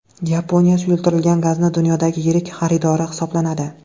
Yaponiya suyultirilgan gazning dunyodagi yirik xaridori hisoblanadi.